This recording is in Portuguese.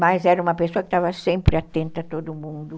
Mas era uma pessoa que estava sempre atenta a todo mundo.